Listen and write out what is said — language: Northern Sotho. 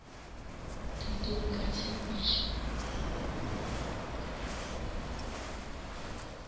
thutong ka tshepedišo ya go